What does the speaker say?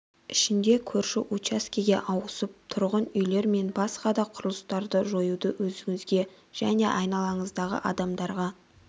ішінде көрші учаскеге ауысып тұрғын үйлер мен басқа да құрылыстарды жояды өзіңізге және айналаңыздағы адамдарға